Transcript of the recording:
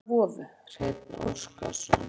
Myndir: Mynd af vofu: Hreinn Óskarsson.